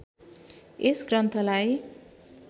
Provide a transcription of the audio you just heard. यस ग्रन्थ्‍ालाई